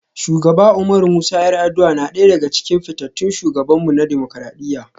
Shugaba Umaru Musa 'Yar'aduwa na daya daga cikin fitattun shugabanmu na dimokuradiyya.